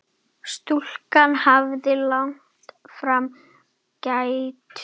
Stúlkan hafði lagt fram kæru.